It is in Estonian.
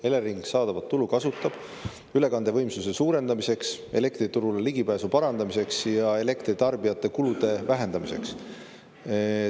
Elering kasutab saadavat tulu ülekandevõimsuse suurendamiseks, elektriturule ligipääsu parandamiseks ja elektritarbijate kulude vähendamiseks.